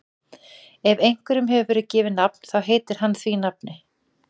Ef einhverjum hefur verið gefið nafn þá heitir hann því nafni.